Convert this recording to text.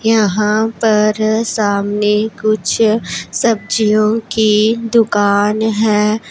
यहाँ पर सामने कुछ सब्जियों की दुकान हैं।